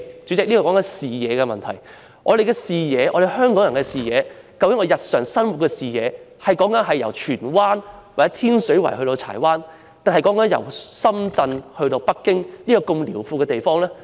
主席，談到視野問題，究竟香港人的視野，是由荃灣或天水圍去柴灣，還是由深圳去北京一個這麼遼闊的地方？